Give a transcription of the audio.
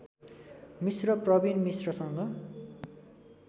Mishra Pravin मिश्रसँग